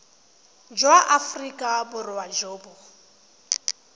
jwa aforika borwa jo bo